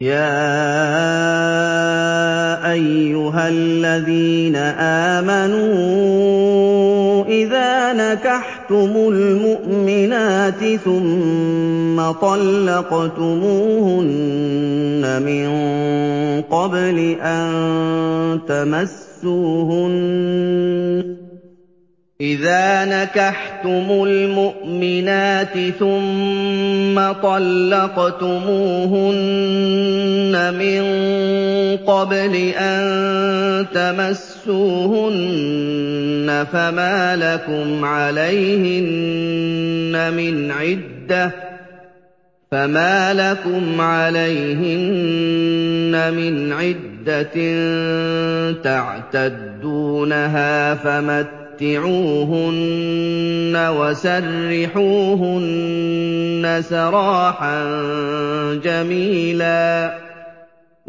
يَا أَيُّهَا الَّذِينَ آمَنُوا إِذَا نَكَحْتُمُ الْمُؤْمِنَاتِ ثُمَّ طَلَّقْتُمُوهُنَّ مِن قَبْلِ أَن تَمَسُّوهُنَّ فَمَا لَكُمْ عَلَيْهِنَّ مِنْ عِدَّةٍ تَعْتَدُّونَهَا ۖ فَمَتِّعُوهُنَّ وَسَرِّحُوهُنَّ سَرَاحًا جَمِيلًا